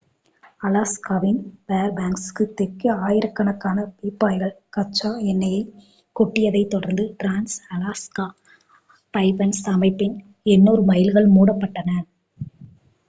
அலாஸ்காவின் ஃபேர்பேங்க்ஸுக்கு தெற்கே ஆயிரக்கணக்கான பீப்பாய்கள் கச்சா எண்ணெயைக் கொட்டியதைத் தொடர்ந்து டிரான்ஸ்-அலாஸ்கா பைப்லைன் அமைப்பின் 800 மைல்கள் மூடப்பட்டன